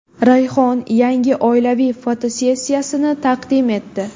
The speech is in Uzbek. Rayhon yangi oilaviy fotosessiyasini taqdim etdi.